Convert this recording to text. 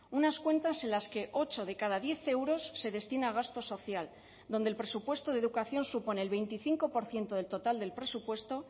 unas cuentas en las que ocho de cada diez euros se destina a gasto social donde el presupuesto de educación supone el veinticinco por ciento del total del presupuesto